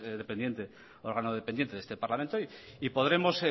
órgano dependiente de este parlamento y podremos